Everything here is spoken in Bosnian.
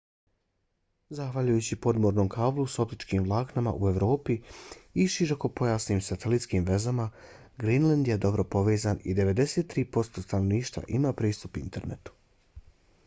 zahvaljujući podmornom kablu s optičkim vlaknima u evropi i širokopojasnim satelitskim vezama grenland je dobro povezan i 93% stanovništva ima pristup internetu